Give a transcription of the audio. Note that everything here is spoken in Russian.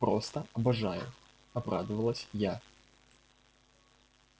просто обожаю обрадовалась я